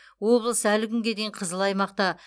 облыс әлі күнге дейін қызыл аймақта